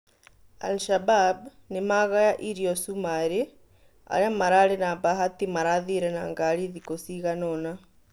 al-shabab "nimagaya irio cũmarĩ" aria mararĩ na bahati marathire na ngari thikũ cigana ona